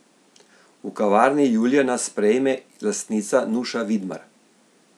V kavarni Julija nas sprejme lastnica Nuša Vidmar.